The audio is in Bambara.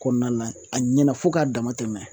Kɔnɔna na a ɲɛna fo k'a dama tɛmɛ